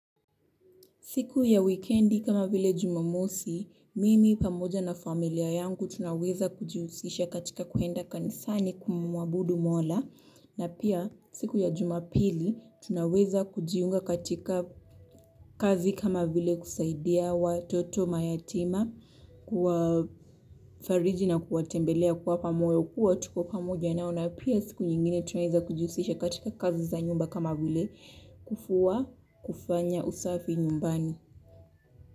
Siku ya wikendi kama vile Jumamosi, mimi pamoja na familia yangu tunaweza kujihusisha katika kuenda kanisani kumuabudu mola. Na pia siku ya Jumapili tunaweza kujiunga katika kazi kama vile kusaidia watoto mayatima, kuwafariji na kuwatembelea kuwapa moyo kuwa tuko pamoja nao. Na pia siku nyingine tunaweza kujihusisha katika kazi za nyumba kama vile kufua kufanya usafi nyumbani.